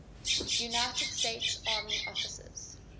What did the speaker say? united states army officers